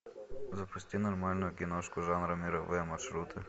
запусти нормальную киношку жанра мировые маршруты